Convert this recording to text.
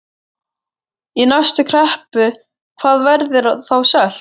Í næstu kreppu, hvað verður þá selt?